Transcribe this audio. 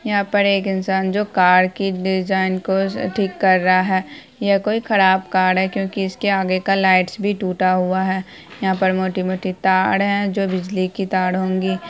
यहाँ पर एक इंसान जो कार कि डिजाईन को ठीक कर रहा है यह कोई खराब कार है क्यूंकि इसके आगे का लाइट भी टूटा हुआ है यहा पैर मोती मोती तार है जो बिजली की तार होगी।